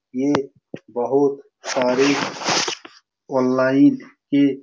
ये बहुत सारी ऑनलाइन के --